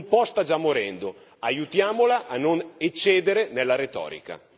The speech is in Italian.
Un po' sta già morendo, aiutiamola a non eccedere nella retorica.